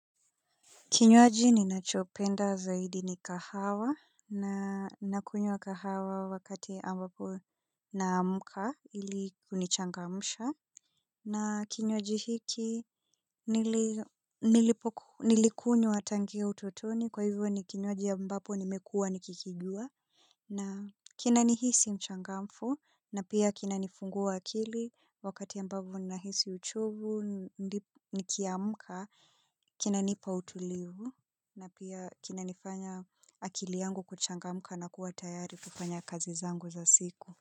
Kinywaji ninacho penda zaidi ni kahawa na nakunywa kahawa wakati ambapo naamka ili kunichangamsha. Na kinywaji hiki nilikunywa tangia utotoni kwa hivyo ni kinywaji ambapo nimekuwa nikikijua. Na kina ni hisi mchangamfu na pia kina nifungua akili wakati ambapo na hisi uchovu nikiamka kina nipa utulivu na pia kinanifanya akili yangu kuchangamka na kua tayari kufanya kazi zangu za siku.